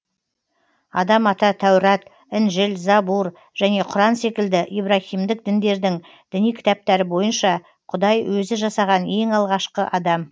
адам ата тәурат інжіл забур және құран секілді ибраһимдік діндердің діни кітаптары бойынша құдай өзі жасаған ең алғашқы адам